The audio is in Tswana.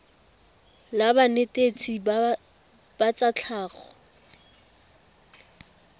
la banetetshi ba tsa tlhago